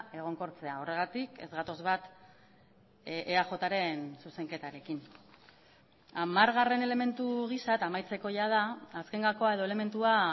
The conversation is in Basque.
egonkortzea horregatik ez gatoz bat eajren zuzenketarekin hamargarren elementu gisa eta amaitzeko jada azken gakoa edo elementua